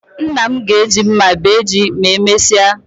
Nna m ga-eji mma bee ji ma emesịa